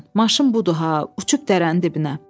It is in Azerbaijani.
Maşın budur ha, uçub dərənin dibinə.